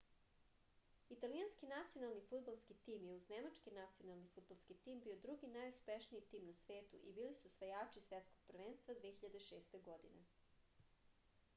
italijanski nacionalni fudbalski tim je uz nemački nacionalni fudbalski tim bio drugi najuspešniji tim na svetu i bili su osvajači svetskog prvenstva 2006. godine